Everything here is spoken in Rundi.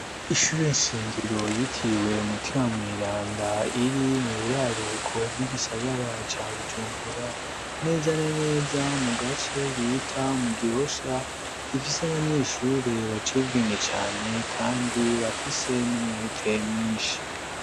Ishuri nshingiro yitiwe Mutima Mweranda, iri mu buraruko bw'igisagara ca Bujumbura, neza na neza mu gace bita mu Gihosha. Rifise abanyeshuri baciye ubwenge cane, kandi bafise n'umwete mwinshi.